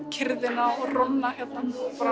kyrrðina og róna hérna